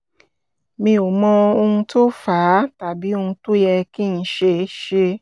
mi ò mọ ohun tó fà á tàbí ohun tó yẹ kí n ṣe ṣe